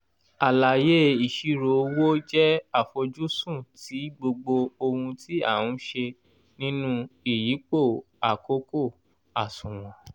àlàyé ìṣirò owó jẹ́ àfojúsùn ti gbogbo ohun tí a n se nínú ìyípo àkókò àsùnwọ̀n